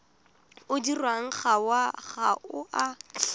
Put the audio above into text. o dirwang ga o a